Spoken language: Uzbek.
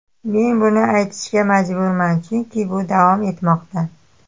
Men buni aytishga majburman, chunki bu davom etmoqda.